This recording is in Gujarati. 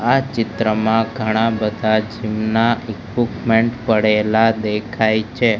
આ ચિત્રમાં ઘણા બધા જીમ ના ઇક્વિપમેન્ટ પડેલા દેખાય છે.